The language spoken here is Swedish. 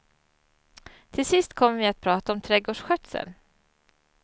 Till sist kom vi att prata om trädgårdsskötsel.